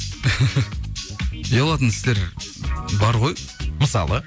ұялатын істер бар ғой мысалы